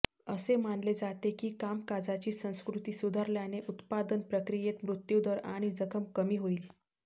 असे मानले जाते की कामकाजाची संस्कृती सुधारल्याने उत्पादन प्रक्रियेत मृत्युदर आणि जखम कमी होईल